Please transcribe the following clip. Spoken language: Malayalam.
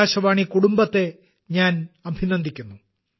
ആകാശവാണി കുടുംബത്തെ ഞാൻ അഭിനന്ദിക്കുന്നു